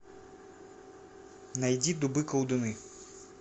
найди дубы колдуны